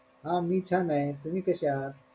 हा मी छाने, तुम्ही कशे आहात?